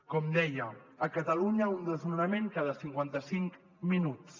com deia a catalunya un desnonament cada cinquanta cinc minuts